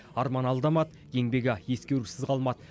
арман алдамады еңбегі ескерусіз қалмады